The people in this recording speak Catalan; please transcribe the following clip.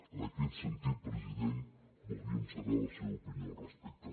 en aquest sentit president voldríem saber la seva opinió al respecte